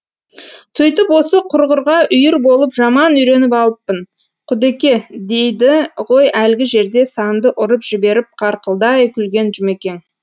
сөйтіп осы құрғырға үйір болып жаман үйреніп алыппын құдеке дейді ғой әлгі жерде санды ұрып жіберіп қарқылдай күлген жұмекең